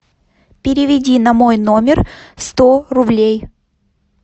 переведи на мой номер сто рублей